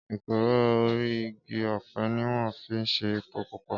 Ékúró óri igi òpè niwòn fi n sé épó púpá